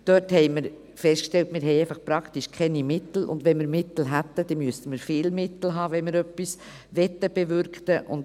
Dort haben wir festgestellt, dass wir praktisch keine Mittel haben, und wenn wir Mittel hätten, müssten wir viele Mittel haben, wenn wir etwas bewirken wollten.